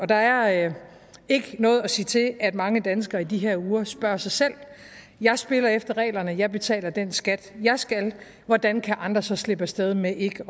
der er ikke noget at sige til at mange danskere i de her uger spørger sig selv jeg spiller efter reglerne jeg betaler den skat jeg skal hvordan kan andre så slippe af sted med ikke